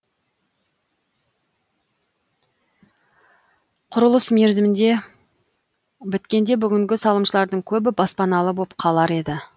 құрылыс мерзімінде біткенде бүгінгі салымшылардың көбі баспаналы боп қалар еді